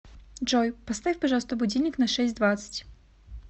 джой поставь пожалуйста будильник на шесть двадцать